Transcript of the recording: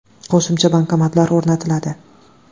Qo‘shimcha bankomatlar o‘rnatiladi.